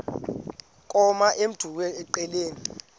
koma emdumbi engqeleni